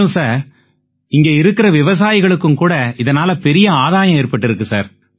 மேலும் சார் இங்க இருக்கற விவசாயிகளுக்கும் கூட இதனால பெரிய ஆதாயம் ஏற்பட்டிருக்கு சார்